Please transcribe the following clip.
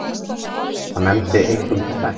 Hann nefndi einkum tvennt.